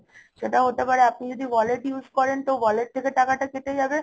সেটা হতে পারে আপনি যদি wallet use করেন তো wallet থেকে টাকাটা কেটে যাবে